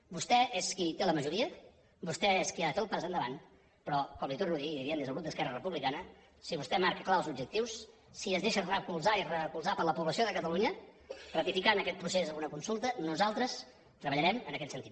vostè és qui té la majoria vostè és qui ha de fer el pas endavant però com li ho torno a dir i li ho diem des del grup d’esquerra republicana si vostè marca clar els objectius si es deixa recolzar i recolzar per la població de catalunya ratificant aquest procés amb una consulta nosaltres treballarem en aquest sentit